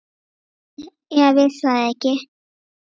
Júlía vissi það ekki.